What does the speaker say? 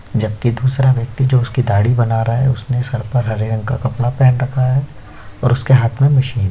जबकि दूसरा व्यक्ति जो उसकी दाढ़ी बना रहा है उसने सर पर हरे रंग का कपड़ा पहन रखा है और उसके हाथ में मशीन --